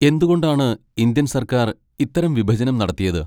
എന്തുകൊണ്ടാണ് ഇന്ത്യൻ സർക്കാർ ഇത്തരം വിഭജനം നടത്തിയത്?